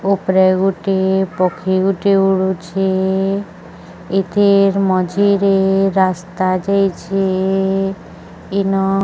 ଉପରେ ଗୋଟିଏ ପକ୍ଷୀ ଗୋଟେ ଉଡ଼ୁଛେ। ଏଥିର୍ ମଝିରେ ରାସ୍ତା ଯାଇଛେ। ଇନ --